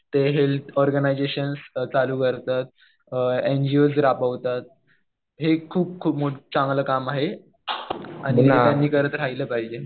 ते health organisations चालू करतात. एनजीओज राबवतात. हे खूप खूप चांगलं काम आहे. आणि त्यांनी करत राहील पाहिजे.